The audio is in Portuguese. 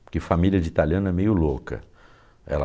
Porque família de italiano é meio louca. Ela